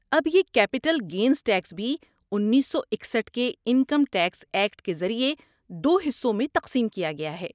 اب، یہ capital gains tax بھی انیسو اکسٹھ کے انکم ٹیکس ایکٹ کے ذریعے دو حصوں میں تقسیم کیا گیا ہے